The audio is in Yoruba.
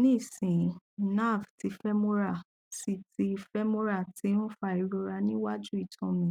nisin nerve ti femoral ti ti femoral ti n fa irora ni waju itan mi